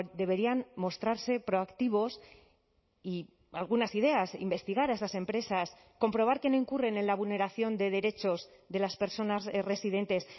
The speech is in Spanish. deberían mostrarse proactivos y algunas ideas investigar a esas empresas comprobar que no incurren en la vulneración de derechos de las personas residentes